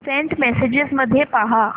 Saint messages मध्ये पहा